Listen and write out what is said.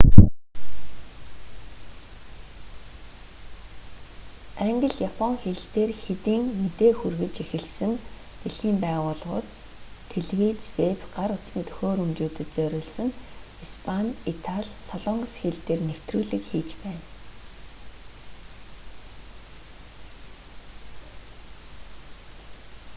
англи япон хэл дээр хэдийн мэдээ хүргэж эхэлсэн дэлхийн байгууллагууд телевиз вэб гар утасны төхөөрөмжүүдэд зориулсан испани итали солонгос хэл дээр нэвтрүүлэг хийж байна